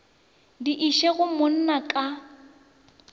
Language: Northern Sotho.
di iše go monna ka